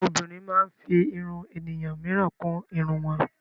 Àwọn obìnrin máa ń fí ìrún ènìyàn míràn kún ìrún wọn.